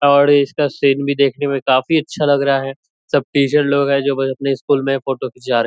और इसका सीन भी देखने में काफ़ी अच्छा लग रहा है । सब टीचर लोग है जो अपने स्कूल में फ़ोटो खीचा रहे --.